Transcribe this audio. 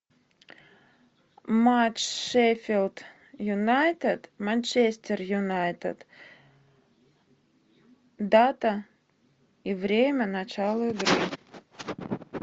матч шеффилд юнайтед манчестер юнайтед дата и время начала игры